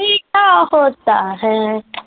ਆਹੋ ਤਾ ਹਾ।